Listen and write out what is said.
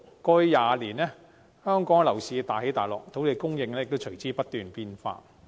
過去20年，香港樓市大起大落，土地供應亦隨之不斷變化。